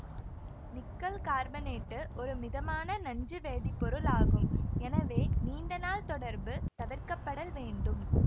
nickel carbonate ஒரு மிதமான நஞ்சு வேதிப்பொருளாகும் எனவே நீண்ட நாள் தொடர்பு தவிர்க்கப்படல் வேண்டும்